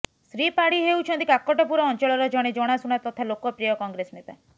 ଶ୍ରୀ ପାଢ଼ୀ ହେଉଛନ୍ତି କାକଟପୁର ଅଂଚଳର ଜଣେ ଜଣାଶୁଣା ତଥା ଲୋକପ୍ରିୟ କଂଗ୍ରେସ ନେତା